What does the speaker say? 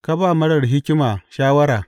Ka ba marar hikima shawara!